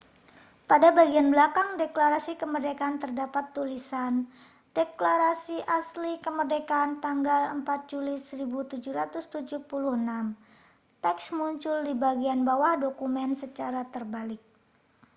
pada bagian belakang deklarasi kemerdekaan terdapat tulisan deklarasi asli kemerdekaan tanggal 4 juli 1776 teks muncul di bagian bawah dokumen secara terbalik